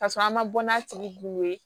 Ka sɔrɔ an man bɔ n'a tigi kun ye